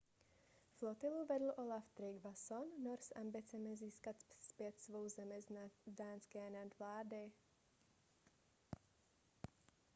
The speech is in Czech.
flotilu vedl olaf trygvasson nor s ambicemi získat zpět svou zemi z dánské nadvlády